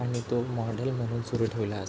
आणि तो मॉडेल म्हणून सुरू ठेवला --